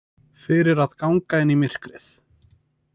Fyrir að ganga inn í myrkrið.